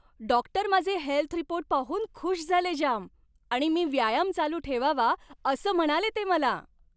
Doctor माझे health report पाहून खुश झाले जाम आणि मी व्यायाम चालू ठेवावा असं म्हणाले ते मला.